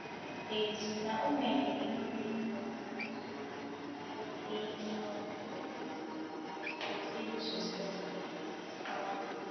dis days na women dey even take care of the household but e um no mean say dem suppose dey disrespectful um